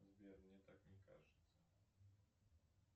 сбер мне так не кажется